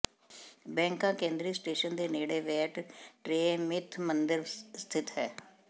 Bangkok ਕੇਂਦਰੀ station ਦੇ ਨੇੜੇ ਵੈਟ ਟ੍ਰੈਅ ਮਿਥ ਮੰਦਰ ਸਥਿਤ ਹੈ